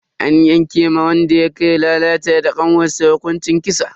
An yanke ma wanda yake lalata da kanwarsa hukuncin kisa.